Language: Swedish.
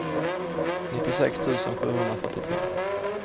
nittiosex tusen sjuhundrafyrtiotre